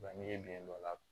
Wa n'i ye biyɛn dɔ la